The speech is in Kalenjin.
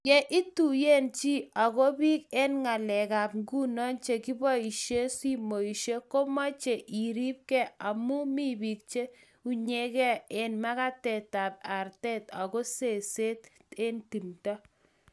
Yo ituiye chi ako biik eng ngalekab nguno chekibaishei simoshek, komechei iribkei amu mi biik cheunyegei eng magatit tab arte anga ko seset nobody timdo